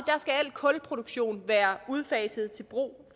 skal al kulproduktion være udfaset til brug